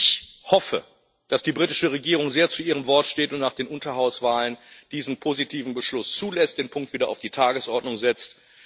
Ich hoffe, dass die britische Regierung sehr zu ihrem Wort steht und nach den Unterhauswahlen diesen positiven Beschluss zulässt, den Punkt wieder auf die Tagesordnung setzt.